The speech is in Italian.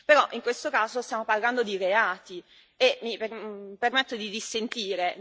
Però, in questo caso, stiamo parlando di reati e mi permetto di dissentire.